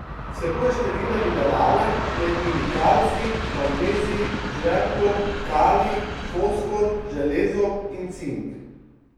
Vsebuje številne minerale, med njimi kalcij, magnezij, žveplo, kalij, fosfor, železo in cink.